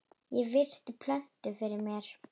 Ég virti plötuna fyrir mér.